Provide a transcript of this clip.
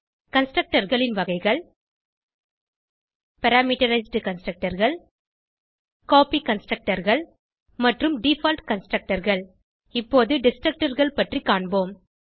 Constructorகளின் வகைகள் பாராமீட்டரைஸ்ட் Constructorகள் கோப்பி Constructorகள் மற்றும் டிஃபால்ட் Constructorகள் இப்பொது Destructorகள் பற்றி காண்போம்